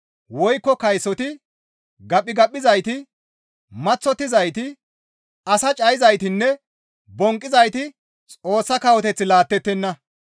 woykko kaysoti, gaphigaphizayti, maththottizayti, as cayizaytinne bonqqizayti Xoossa kawoteth laattettenna.